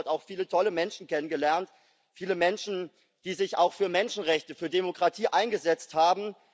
Aber ich habe dort auch viele tolle Menschen kennengelernt viele Menschen, die sich auch für Menschenrechte und Demokratie eingesetzt haben.